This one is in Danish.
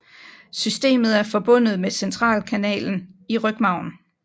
Systemet er forbundet med centralkanalen i rygmarven